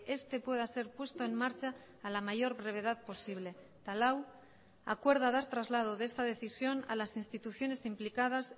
este pueda ser puesto en marcha a la mayor brevedad posible eta lau acuerda dar traslado de esta decisión a las instituciones implicadas